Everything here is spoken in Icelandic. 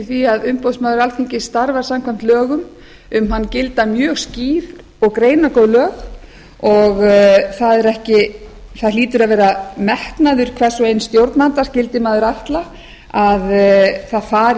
því að umboðsmaður alþingis starfar samkvæmt lögum um hann gilda mjög skýr og greinargóð lög það hlýtur að vera metnaður hvers og eins stjórnanda skyldi maður ætla að það fari